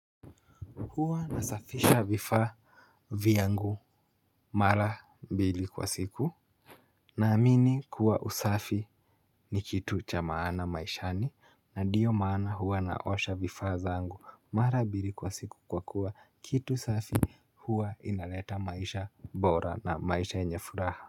Huwa nasafisha vifaa vyangu mara mbili kwa siku naamini kuwa usafi ni kitu cha maana maishani na ndiyo maana huwa naosha vifaa zangu mara mbili kwa siku kwa kuwa kitu safi huwa inaleta maisha bora na maisha yenye furaha.